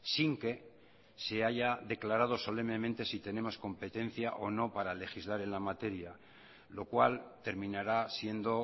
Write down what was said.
sin que se haya declarado solemnemente si tenemos competencia o no para legislar en la materia lo cual terminará siendo